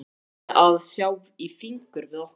Bjarni að sjá í fingur við okkur.